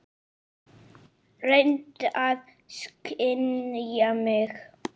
Reyndu að skilja mig.